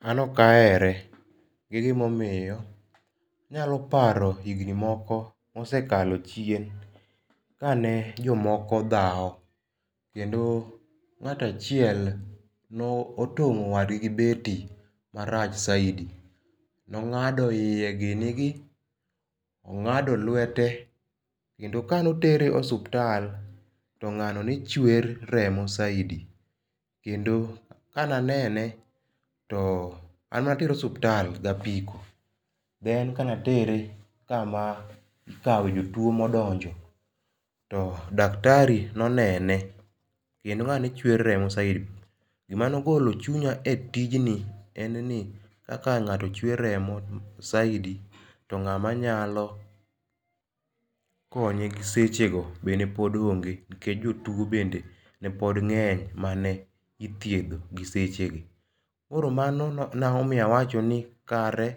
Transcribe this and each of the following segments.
An okahere, gi gima omiyo. Inyalo paro higni moko mosekalo chien, kane jomoko dhao kendo ng'ato achiel notong'o wadgi gi beti marach saidi, nong'ado iye gini gi, ong'ado lwete kendo kanotere osuptal to ng'ano nechwer remo saidi kendo kane anene to an natere osuptal gapiko, en kane atere kama ikawe jotuo modonjo to daktari nonene kendo ngani ne chwer remo saidi, gimane ogolo chunya e tijni en ni kaka ng'ato chwer remo saidi to ng'ama nyalo konye sechego be ne pod onge nikech jotuo bende nepod ng'eny mane ithiedho gi sechegi. Koro mano nomiyo awacho ni kare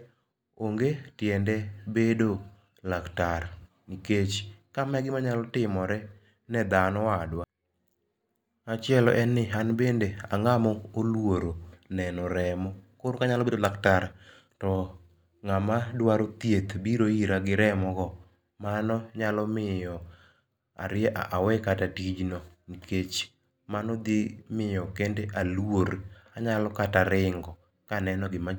onge tiende bedo laktar nikech kama e gima nya timore ne dhano wadwa. Machielo en ni an bende ang'ama oluoro neno remo koro ka anya bedo laktar to ng'ama dwaro thieth biro ira gi rmo go, mano nyalo miyo ariemb, awe kata tijno nikech mano dhi miyo kende aluor, anya kata ringo kaneno gima